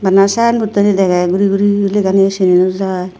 sign board ani dege guri guri guriney lega ni u cina nw jiy.